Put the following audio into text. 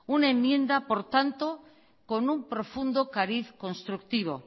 una enmienda por tanto con un profundo cariz constructivo